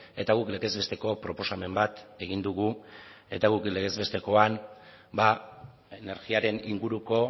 eta guk legez besteko proposamen bat egin dugu eta guk legez bestekoan energiaren inguruko